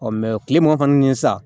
kile mugan kɔni sa